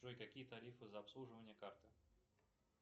джой какие тарифы за обслуживание карты